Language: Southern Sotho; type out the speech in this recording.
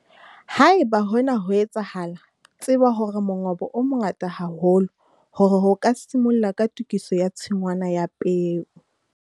Haeba hona ho etsahala, tseba hore mongobo o mongata haholo hore o ka simolla ka tokiso ya tshingwana ya peo.